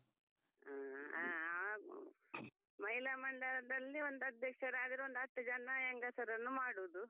ಹ್ಮ್ ಹಾ ಮಹಿಳಾ ಮಂಡಲದಲ್ಲಿ ಒಂದು ಅಧ್ಯಕ್ಷರಾದ್ರೆ ಒಂದು ಹತ್ತು ಜನ ಹೆಂಗಸರನ್ನು ಮಾಡುದು.